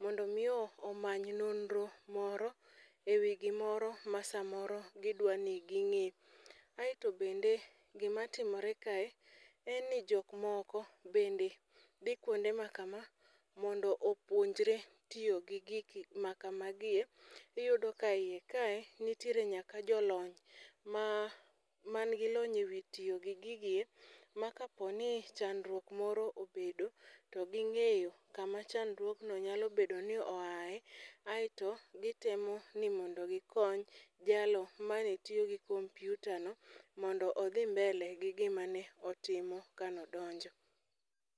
mondo omi oamny nonro moro e wi gimoro ma samoro gidwa ni ging'e, aeto bende gimatimore kae en ni jok moko bende dhi kwonde ma kama mondo opuonjre tiyo gi gik makamagi e,iyudo ka iye kae nitiere nyaka jolony manigi lony e wi tiyo gi gigi ma kapo ni chandruok moro obedo, to ging'eyo kama chandruogno nyalo bedo ni oaye, aeto gitemo ni ondo gikony jalo mane tiyo gi kompyutano mondo odhi mbele gi gima ne otimo kane odonjo.